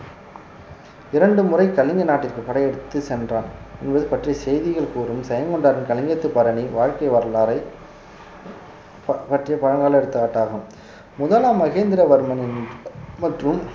இரண்டு முறை கலிங்க நாட்டிற்கு படை எடுத்துச் சென்றார் இவர் பற்றிய செய்திகள் கூறும் ஜெயங்கொண்டாரின் கலிங்கத்துப்பரணி வாழ்க்கை வரலாறை பற்~ பற்றிய பழங்கால எடுத்துக்காட்டாகும் முதலாம் மகேந்திரவர்மன் மற்றும்